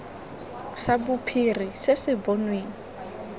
sa bophiri se se bonweng